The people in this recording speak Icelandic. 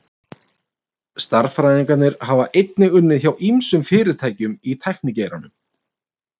Stærðfræðingar hafa einnig unnið hjá ýmsum fyrirtækjum í tæknigeiranum.